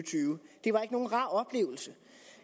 det var ikke nogen rar oplevelse